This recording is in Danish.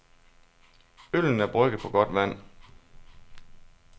Øllen er brygget på godt vand.